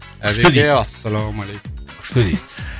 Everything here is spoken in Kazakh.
әбеке ассалаумалейкум күшті дейді